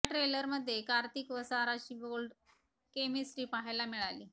या ट्रेलरमध्ये कार्तिक व साराची बोल्ड केमिस्ट्री पाहायला मिळाली